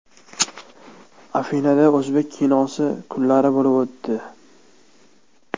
Afinada o‘zbek kinosi kunlari bo‘lib o‘tdi.